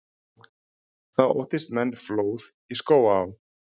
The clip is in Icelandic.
Þá óttist menn flóð í Skógaá.